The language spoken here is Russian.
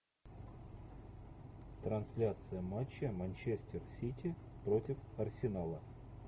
трансляция матча манчестер сити против арсенала